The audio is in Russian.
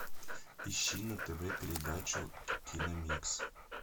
ищи на тв передачу киномикс